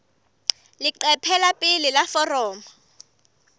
leqephe la pele la foromo